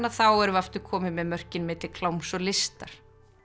þá erum við aftur komin með mörkin milli kláms og listar